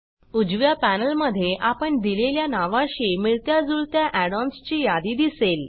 उजव्या पॅनेलमधे आपण दिलेल्या नावाशी मिळत्या जुळत्या add ओएनएस ची यादी दिसेल